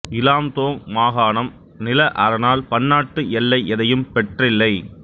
Lam Dong மாகாணம் நில அரணால் பன்னாட்டு எல்லை எதையும் பெற்றில்லை